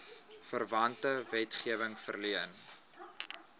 verwante wetgewing verleen